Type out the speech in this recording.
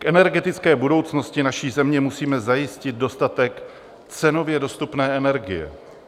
K energetické budoucnosti naší země musíme zajistit dostatek cenově dostupné energie.